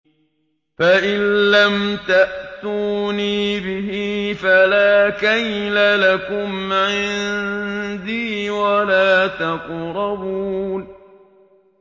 فَإِن لَّمْ تَأْتُونِي بِهِ فَلَا كَيْلَ لَكُمْ عِندِي وَلَا تَقْرَبُونِ